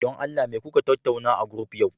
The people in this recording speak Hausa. don Allah me kuka tattauna a group yau